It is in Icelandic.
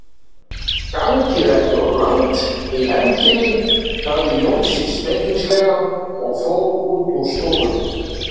Gangið ekki of langt í hefndinni, sagði Jónsi spekingslega og fór út úr stofunni.